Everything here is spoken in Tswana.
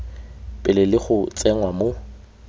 pele le go tsenngwa mo